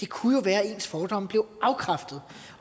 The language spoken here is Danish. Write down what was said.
kunne være at deres fordomme blev afkræftet